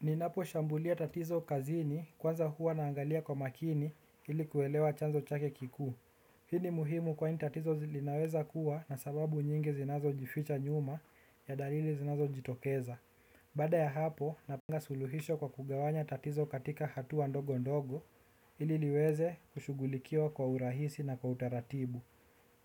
Ninapo shambulia tatizo kazini kwanza huwa naangalia kwa makini ilikuelewa chanzo chake kikuu. Hii ni muhimu kwani tatizo lilinaweza kuwa na sababu nyingi zinazo jificha nyuma ya dalili zinazo jitokeza. Baada ya hapo napanga suluhisho kwa kugawanya tatizo katika hatuwa ndogo ndogo ili liweze kushughulikiwa kwa urahisi na kwa utaratibu.